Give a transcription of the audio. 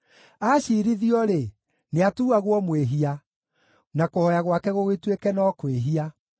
Aacirithio-rĩ, nĩatuuagwo mwĩhia, na kũhooya gwake gũgĩtuĩke no kwĩhia.